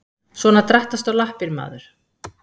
Svona drattastu á lappir maður.